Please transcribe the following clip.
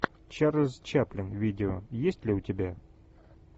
чарльз чаплин видео есть ли у тебя